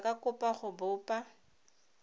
ba ka kopa go bopa